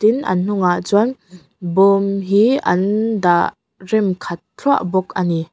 tin an hnungah chuan bawm hi an dah rem khat thluah bawk ani.